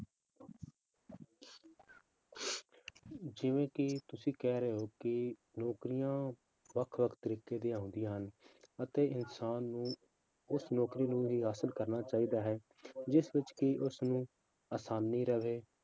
ਜਿਵੇਂ ਕਿ ਤੁਸੀਂ ਕਹਿ ਰਹੇ ਹੋ ਕਿ ਨੌਕਰੀਆਂ ਵੱਖ ਵੱਖ ਤਰੀਕੇ ਦੀਆਂ ਹੁੰਦੀਆਂ ਹਨ, ਅਤੇ ਇਨਸਾਨ ਨੂੰ ਉਸ ਨੌਕਰੀ ਨੂੰ ਹੀ ਹਾਸਲ ਕਰਨਾ ਚਾਹੀਦਾ ਹੈ , ਜਿਸ ਵਿੱਚ ਕਿ ਉਸਨੂੰ ਅਸਾਨੀ ਰਹੇ।